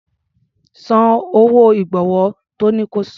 San owó ìgbọ̀wọ́ tọ́ ní ko san.